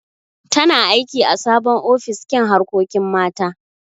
Tana aiki ã sabon ofis kin harkokin mata.